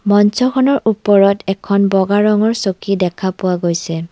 মঞ্চখনৰ ওপৰত এখন বগা ৰঙৰ চকী দেখা পোৱা গৈছে।